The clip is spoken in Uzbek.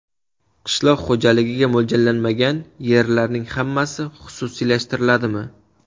Qishloq xo‘jaligiga mo‘ljallanmagan yerlarning hammasi xususiylashtiriladimi?